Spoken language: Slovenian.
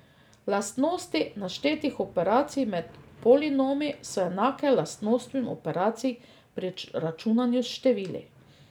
Lastnosti naštetih operacij med polinomi so enake lastnostim operacij pri računanju s števili.